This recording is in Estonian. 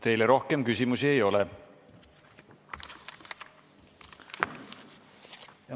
Teile rohkem küsimusi ei ole.